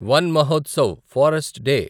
one Mahotsav forest day